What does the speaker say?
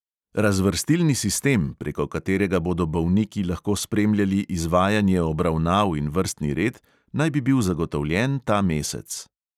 Razvrstilni sistem, preko katerega bodo bolniki lahko spremljali izvajanje obravnav in vrstni red, naj bi bil zagotovljen ta mesec.